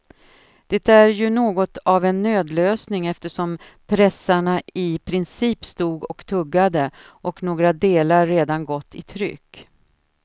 Det är ju något av en nödlösning eftersom pressarna i princip stod och tuggade och några delar redan gått i tryck.